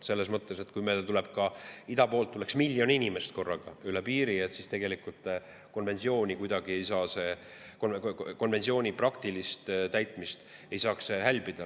Et kui meile tuleks ida poolt ka miljon inimest korraga üle piiri, siis konventsiooni praktilisest täitmisest ei tohiks ikkagi hälbida.